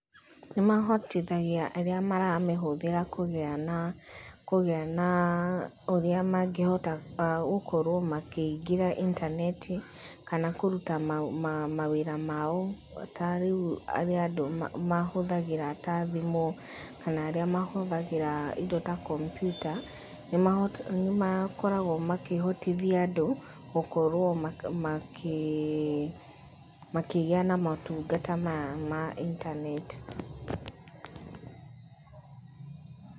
Nĩ mahotithagia arĩa maramĩhũthĩra kũgĩa na ũrĩa mangĩhota gũkorwo makĩingĩra intaneti, kana kũruta mawĩra mao. Ta rĩu arĩa andu mahũthagĩra ta thimũ, kana arĩa mahũthagĩra indo ta kompyuta, nĩ makoragwo makĩhotithia andũ gũkorwo makĩgĩa na motungata ma intaneti.